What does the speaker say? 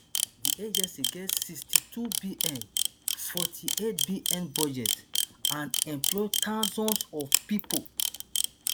di agency get one sixty-twobn forty-eightbn budget and employ thousands of pipo